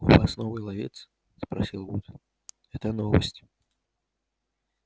у вас новый ловец спросил вуд это новость